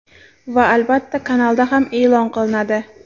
Va albatta kanalda ham eʼlon qilinadi.